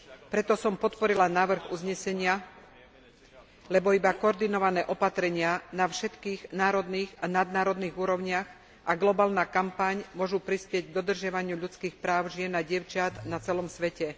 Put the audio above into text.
Preto som podporila návrh uznesenia, lebo iba koordinované opatrenia na všetkých národných a nadnárodných úrovniach a globálna kampaň môžu prispieť k dodržiavaniu ľudských práv žien a dievčat na celom svete.